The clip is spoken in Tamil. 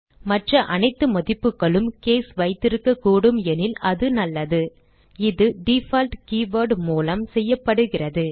மற்ற அனைத்து மதிப்புகளுக்கும் கேஸ் வைத்திருக்கக்கூடும் எனில் அது நல்லது இது டிஃபால்ட் keyword ஐ மூலம் செய்யப்படுகிறது